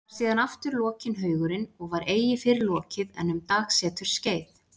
Var síðan aftur lokinn haugurinn og var eigi fyrr lokið en um dagseturs skeið.